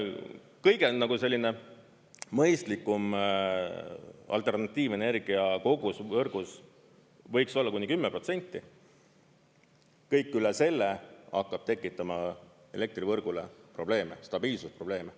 Kõige selline mõistlikum alternatiivenergia kogus võrgus võiks olla kuni 10%, kõik üle selle hakkab tekitama elektrivõrgule probleeme, stabiilsusprobleeme.